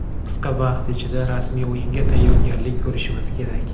Qisqa vaqt ichida rasmiy o‘yinga tayyorgarlik ko‘rishimiz kerak.